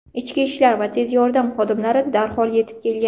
Ichki ishlar va tez yordam xodimlari darhol yetib kelgan.